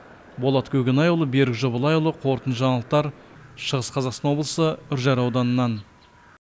болат көкенайұлы берік жобалайұлы қорытынды жаңалықтар шығыс қазақстан облысы үржар ауданынан